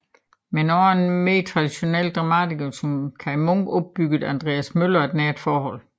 Men også til en mere traditionel dramatiker som Kaj Munk opbyggede Andreas Møller et nært forhold